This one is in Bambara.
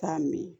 K'a min